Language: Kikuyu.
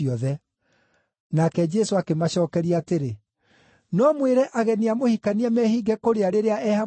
Nake Jesũ akĩmacookeria atĩrĩ, “No mwĩre ageni a mũhikania mehinge kũrĩa rĩrĩa e hamwe nao?